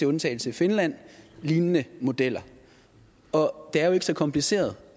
undtagelse af finland lignende modeller og det er jo ikke så kompliceret